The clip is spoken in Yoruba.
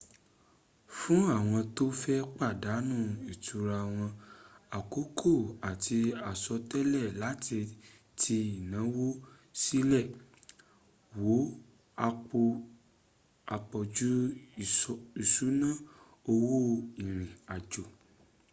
fún àwọn tó fẹ́ pàdánù ìtura wọn àkókò àti àsọtẹlẹ̀ láti ti ìnáwó sílẹ̀ wo àpọ̀jù ìṣúná owó ìrìn àjò